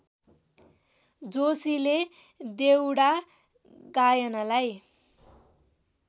जोशीले देउडा गायनलाई